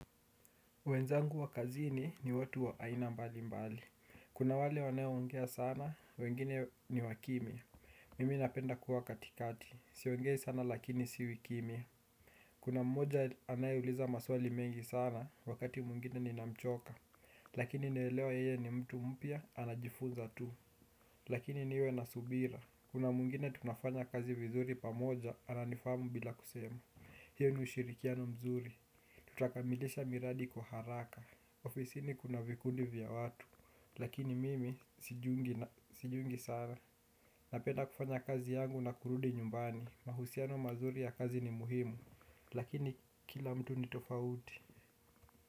Wenzangu wa kazini ni watu wa aina mbali mbali. Kuna wale wanaoongea sana, wengine ni wakimya. Mimi napenda kuwa katikati, siongei sana lakini siwi kimya. Kuna mmoja anayeuliza maswali mengi sana, wakati mwingine ninamchoka. Lakini naelewa yeye ni mtu mpya, anajifunza tu. Lakini niwe na subira. Kuna mwingine tunafanya kazi vizuri pamoja, ananifahamu bila kusema. Hio ni ushirikiano mzuri. Tutakamilisha miradi kwa haraka. Ofisini kuna vikundi vya watu. Lakini mimi sijiungi sana. Napenda kufanya kazi yangu na kurudi nyumbani. Mahusiano mazuri ya kazi ni muhimu. Lakini kila mtu ni tofauti.